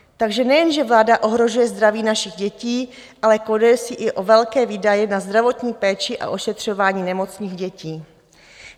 Takže nejenže vláda ohrožuje zdraví našich dětí, ale koleduje si i o velké výdaje na zdravotní péči a ošetřování nemocných dětí.